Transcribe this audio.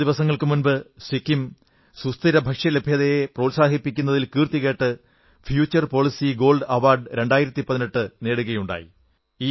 കുറച്ചു ദിവസങ്ങൾക്കു മുമ്പ് സിക്കിം സുസ്ഥിരഭക്ഷ്യലഭ്യതയെ പ്രോത്സാഹിപ്പിക്കുന്നതിൽ കീർത്തികേട്ട് ഫ്യൂചർ പോളിസി ഗോൾഡ് അവാർഡ് 2018 നേടുകയുണ്ടായി